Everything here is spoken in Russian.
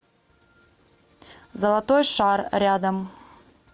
золотой шар рядом